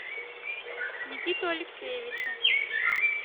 никиту алексеевича